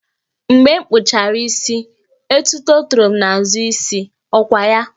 Mgbe m kpụchara isi, etuto toro m n'azụ isi, ọ kwa ya?